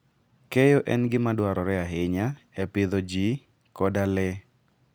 Keyo en gima dwarore ahinya e pidho ji koda le.